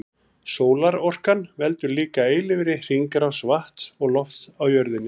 Sólarorkan veldur líka eilífri hringrás vatns og lofts á jörðinni.